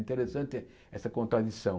Interessante essa contradição.